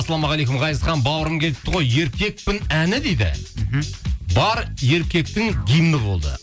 ассалаумағалейкум ғазизхан бауырым келіпті ғой еркекпін әні дейді мхм бар еркектің гимні болды